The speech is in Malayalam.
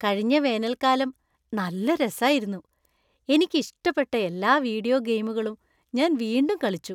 കഴിഞ്ഞ വേനൽക്കാലം നല്ല രസായിരുന്നു . എനിക്ക് ഇഷ്ടപ്പെട്ട എല്ലാ വീഡിയോ ഗെയിമുകളും ഞാൻ വീണ്ടും കളിച്ചു.